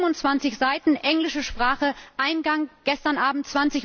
27 Seiten, englische Sprache, Eingang gestern Abend